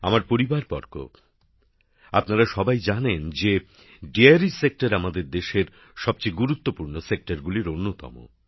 আমার পরিবারবর্গ আপনারা সবাই জানেন যে দোহ অর্থাৎ ডেয়ারি সেক্টর আমাদের দেশের সবচেয়ে গুরুত্বপূর্ণ ক্ষেত্রগুলির অন্যতম